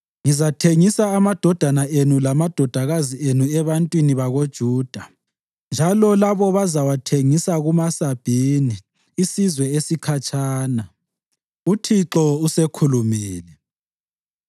Ngizathengisa amadodana enu lamadodakazi enu ebantwini bakoJuda, njalo labo bazawathengisa kumaSabhini, isizwe esikhatshana.” UThixo usekhulumile.